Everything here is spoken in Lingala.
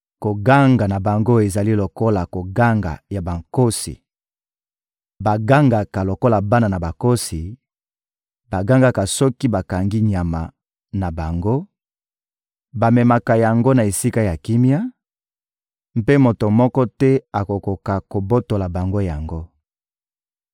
Koganga na bango ezali lokola koganga ya bankosi: bagangaka lokola bana nkosi, bagangaka soki bakangi nyama na bango, bamemaka yango na esika ya kimia, mpe moto moko te akokaka kobotola bango yango.